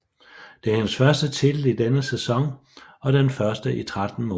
Det er hendes første titel i denne sæson og den første i 13 måneder